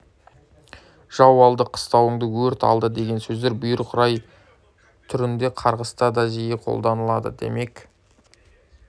жау алды қыстауыңды өрт алды деген сөздер бұйрық рай түрінде қарғыста да жиі қолданылады демек